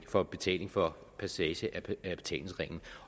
for betaling for passage af betalingsringen